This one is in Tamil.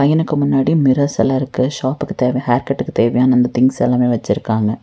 பையனுக்கு முன்னாடி மிரர்ஸெல்லா இருக்கு ஷாப்புக்கு தேவ ஹேர்க்கட்டுக்கு தேவையான அந்த திங்ஸ் எல்லாமே வெச்சிருக்காங்க.